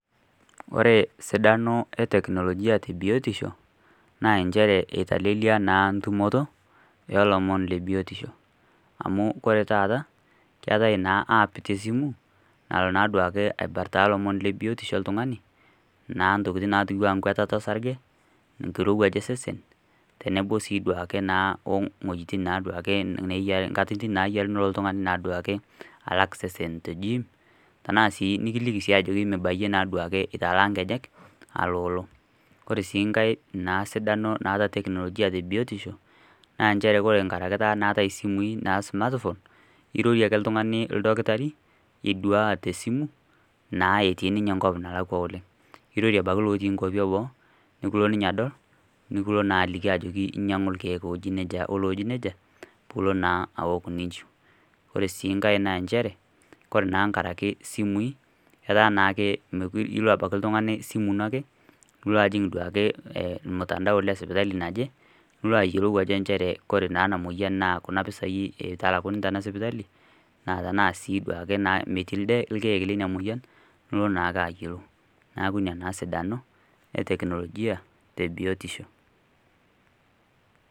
Ore esiadano ee teknolojia tee biotishi naa inchere eitalelei naa ntumoto olomon lee biotisho amuu oree tata keeta naa app teesimu nalo naa aduaki aipirta ilomon lee biotisho ooltung'ani naa intokiting' naa enkuatata osarge enkirewuaj osesen teneboo naa sii oekeirmoyiaitin naa ake knkatitin nayiaa oltung'ani naa aduaki exercise idim tenaa sii nikiliki sii ajeki mebayie naa etalaa inkejek alooloo ore sii ngae naa sidano naata teknologia tee biotisho naa ore nchere ngaraki naa eetae isimui ijoki ake oltung'ani oldakitari iduaa teesimu naa etii ninye eenkop nalakua oleng' neiroie illooti inkwapi eboo nee kelo ninye adol nekuu kelo naa aliki ajeki nyang'u irkiek ooji nejia pilooo naa awok ninchiu ore sii nkae naa nchere ore naa nkaraki isimui etaa naa ake mekure ilo abaki esimu ino ake ijing' naa ake ormutandao lesipitali naje piloo ayiolou ajo inchere koree naa ena moyian naa Kuna pisai eitalakuni tena sipitali naa tenaa sii ake metii ilkiek leina moyian nilo naa ake ayiolou neeku ina naa esidano ee teknologia tebiotisho.